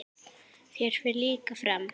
Þér fer líka fram.